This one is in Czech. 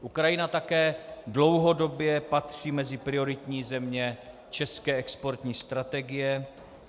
Ukrajina také dlouhodobě patří mezi prioritní země české exportní strategie.